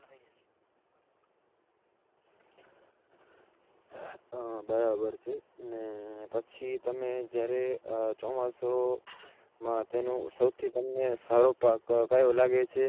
હા બરાબર છે. ને પછી તમે જ્યારે ચોમાસુમાં તેનું સૌથી તમને સારો પાક કયો લાગે છે?